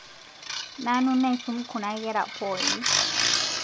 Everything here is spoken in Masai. Nanu naisom kuna kera pooki